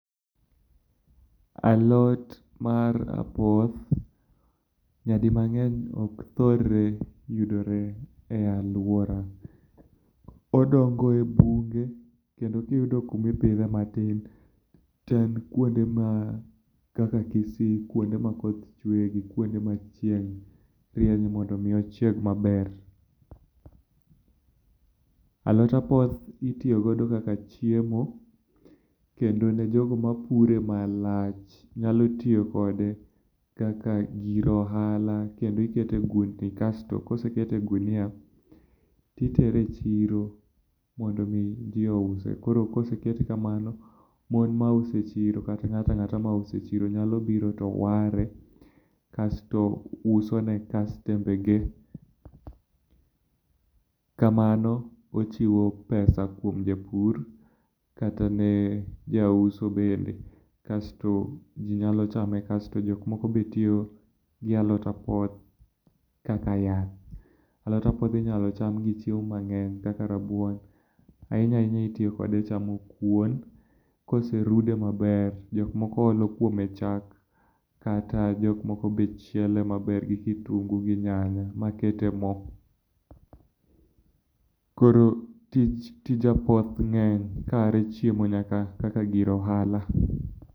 Alot mar apoth nyadi mang'eny ok thor yudre e aluora. Odongo e bunge kendo kiyudo kuma ipidhe matin, to e kuonde ma kaka Kisii, kuonde ma koth chweye, kuonde ma chieng' rienyie mondo mi ochieg maber. Alot apoth itiyo godo kaka chiemo kendo ne jogo mapure malach nayalo tiyo kode kaka gir ohala. Kendo ikete e ogundni, kasto kosekete e ogunia to kendo itere e chiro mondo mi ji ouse koro kosekete kamano, mon mauso e chiro kata ng'ato ang'ata mauso e chiro nyalo biro to ware to uso ne kastembene. kamano ochiwo pesa kuom japur kata ne jauso bende kaeto ji nyalo chame kasto jok moko be tiyo gi alot apoth kaka yath. Alot apoth inyalo inyalo cham gi chiemo mang'eny kaka rabuon. Ahinya ahinya itiyo kode echamo kuon. Koserude maber, jok moko olo kuome chalk, kata jok moko be chiele maber gi kitungu gi nyanya makete mo. Koro tije apoth ng'eny kaae chiemo nyaka kaka gir ohala.